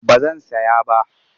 Ba zan saya ba.